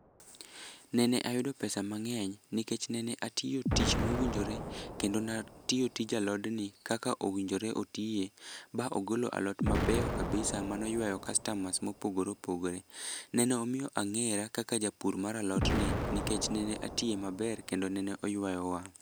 Nene ayudo pesa mang'eny nikech nene atiyo tich mowinjore kendo natiyo tij alodni kaka owinjore otiye ba ogolo alot mabeyo kabisa manoyweyo kastamas mopogore opogore. Nenomiyo ang'era kaka japur mar alotni nikech nene atiye maber kendo nene oywayo mwang'.